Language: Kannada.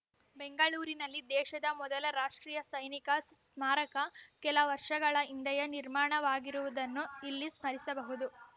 ಬೆಂಗಳೂರಿನಲ್ಲಿ ದೇಶದ ಮೊದಲ ರಾಷ್ಟ್ರೀಯ ಸೈನಿಕ ಸ್ಮಾರಕ ಕೆಲ ವರ್ಷಗಳ ಹಿಂದೆಯೇ ನಿರ್ಮಾಣವಾಗಿರುವುದನ್ನು ಇಲ್ಲಿ ಸ್ಮರಿಸಬಹುದು